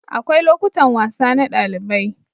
Akwai lokutan wasa na ɗalibai.